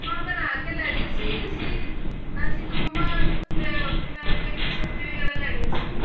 ਹਾਂ ਬਣਾ ਕੇ ਲੈ ਗਏ ਸੀ ਅਸੀਂ ਅਸੀਂ ਤੇ ਮਮਾ ਤੇ ਆਪਣਾ ਕੀ ਸਬਜੀ ਵਗੈਰਾ ਲੈਗੇ ਸੀ